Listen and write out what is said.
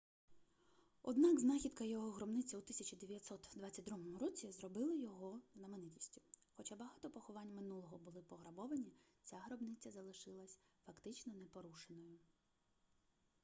однак знахідка його гробниці у 1922 році зробила його знаменитістю хоча багато поховань минулого були пограбовані ця гробниця залишилась фактично непорушеною